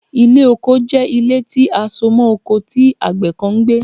Ile oko jẹ ile ti a so mọ oko ti agbẹ kan n gbe